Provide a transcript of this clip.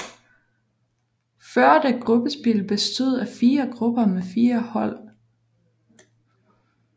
Førte gruppespil bestod af fire grupper med fire hold